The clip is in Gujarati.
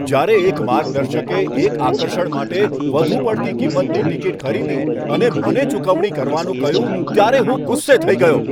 જ્યારે એક માર્ગદર્શકે એક આકર્ષણ માટે વધુ પડતી કિંમતની ટિકિટ ખરીદી અને મને ચૂકવણી કરવાનું કહ્યું ત્યારે હું ગુસ્સે થઈ ગયો.